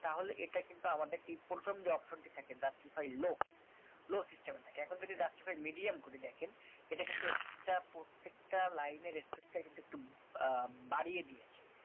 তাহলে এটা কিন্তু আমাদের এই প্রথম যে otion টি থাকে justify low low system থাকেএখন যদি justify medium করে দেখেন এটা কিন্তু space টা প্রত্যেকটা লাইনএর space কিন্তু একটু আহ বাড়িয়ে দিয়েছে